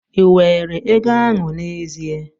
Ị were ego ahụ n'ezie?